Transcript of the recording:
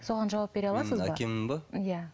соған жауап бере аласыз ба